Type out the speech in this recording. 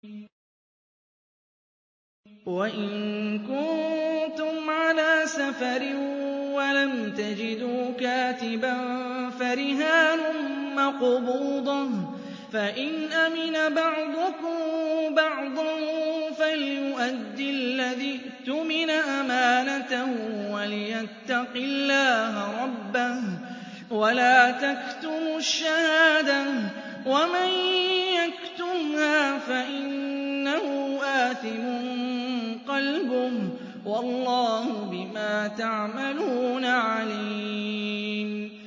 ۞ وَإِن كُنتُمْ عَلَىٰ سَفَرٍ وَلَمْ تَجِدُوا كَاتِبًا فَرِهَانٌ مَّقْبُوضَةٌ ۖ فَإِنْ أَمِنَ بَعْضُكُم بَعْضًا فَلْيُؤَدِّ الَّذِي اؤْتُمِنَ أَمَانَتَهُ وَلْيَتَّقِ اللَّهَ رَبَّهُ ۗ وَلَا تَكْتُمُوا الشَّهَادَةَ ۚ وَمَن يَكْتُمْهَا فَإِنَّهُ آثِمٌ قَلْبُهُ ۗ وَاللَّهُ بِمَا تَعْمَلُونَ عَلِيمٌ